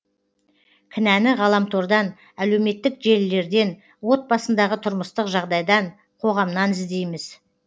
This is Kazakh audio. кінәні ғаламтордан әлеуметтік желілерден отбасындағы тұрмыстық жағдайдан қоғамнан іздейміз